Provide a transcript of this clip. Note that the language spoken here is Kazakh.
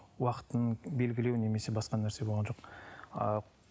уақытын белгілеу немесе басқа нәрсе болған жоқ ыыы